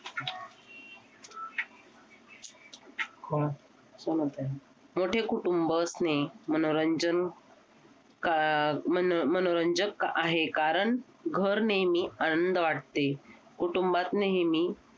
मोठे कुटुंब असणे मनोरंजन का आह मनोरंजक आहे कारण घर नेहमी आनंद वाटते कुटुंबात नेहमी